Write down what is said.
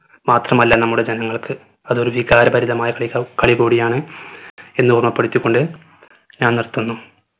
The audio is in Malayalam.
മാത്രമല്ല നമ്മുടെ ജനങ്ങൾക് അതൊരു വികാരഭരിതമായ കാലിയാ കളി കൂടിയാണ് എന്ന് ഓർമ്മപ്പെടുത്തി കൊണ്ട് ഞാൻ നിർത്തുന്നു